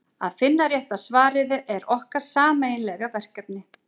að finna rétta svarið er okkar sameiginlega verkefni